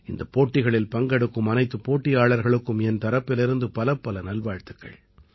இந்தப் போட்டிகளில் பங்கெடுக்கும் அனைத்துப் போட்டியாளர்களுக்கும் என் தரப்பிலிருந்து பலப்பல நல்வாழ்த்துக்கள்